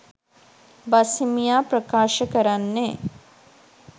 බස්හිමියා ප්‍රකාශ කරන්නේ